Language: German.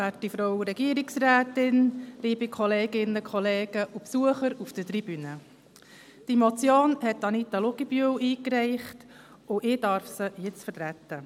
Anita Luginbühl hat diese Motion eingereicht, und ich darf sie jetzt vertreten.